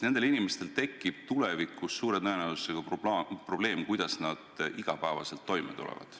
Neil tekib tulevikus suure tõenäosusega probleem, kuidas nad igapäevaselt toime tulevad.